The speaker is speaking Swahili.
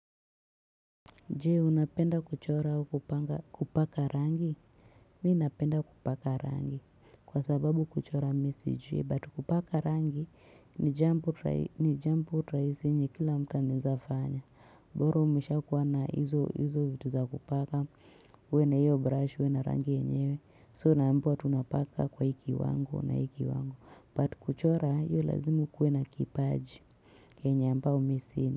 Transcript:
Jee, unapenda kuchora au kupaka rangi? Mi napenda kupaka rangi kwa sababu kuchora mi sijui, but kupaka rangi ni jambo rahisi yenye kila mtu anaeza fanya. Boro umeshakuwa na hizo hizo vitu za kupaka, uwe na hiyo brush, uwe na rangi enyewe, so unaambiwa tunapaka kwa hii kiwango na hii kiwango, but kuchora hiyo lazima ukuwe na kipaji, yenya ambao mi sina.